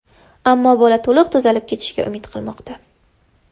Ammo bola to‘liq tuzalib ketishiga umid qilmoqda.